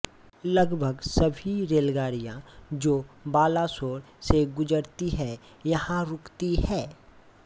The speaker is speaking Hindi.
लगभग सभी रेलगाडिया जो बालासोर से गुजरती है यहाँ रुकती है